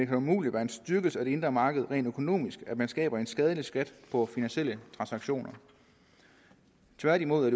kan umuligt være en styrkelse af det indre marked rent økonomisk at man skaber en skadelig skat på finansielle transaktioner tværtimod